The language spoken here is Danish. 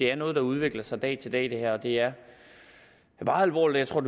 er noget der udvikler sig fra dag til dag og det er meget alvorligt jeg